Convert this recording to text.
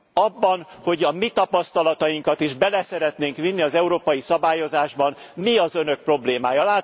Abban, hogy a mi tapasztalatainkat is bele szeretnénk vinni az európai szabályozásba, mi az Önök problémája?